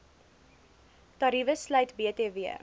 tariewe sluit btw